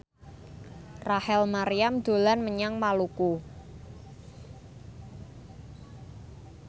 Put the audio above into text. Rachel Maryam dolan menyang Maluku